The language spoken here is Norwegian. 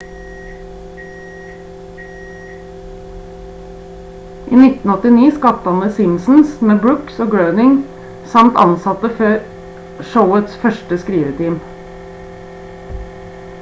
i 1989 skapte han the simpsons med brooks og groening samt ansatte showets første skriveteam